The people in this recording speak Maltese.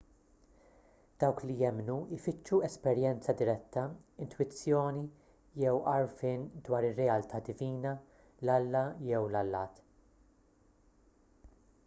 dawk li jemmnu jfittxu esperjenza diretta intwizzjoni jew għarfien dwar ir-realtà divina/l-alla jew l-allat